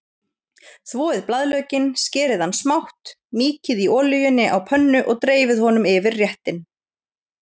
Þvoið blaðlaukinn, skerið hann smátt, mýkið í olíunni á pönnu og dreifið honum yfir réttinn.